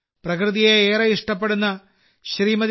പ്രകൃതിയെ ഏറെ ഇഷ്ടപ്പെടുന്ന ശ്രീമതി